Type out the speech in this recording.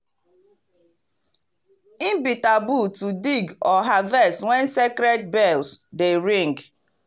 e be taboo to dig or harvest when sacred bells dey ring.